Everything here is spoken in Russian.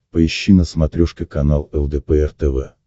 поищи на смотрешке канал лдпр тв